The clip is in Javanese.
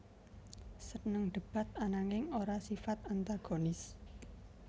Seneng debat ananging ora sifat antagonis